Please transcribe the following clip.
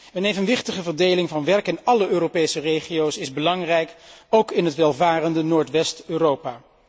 Een evenwichtige verdeling van werk in alle Europese regio's is belangrijk, ook in het welvarende Noordwest Europa.